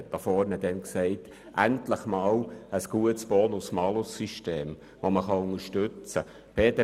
Er sagte damals, endlich habe man einmal ein gutes BonusMalus-System, das man unterstützen kann.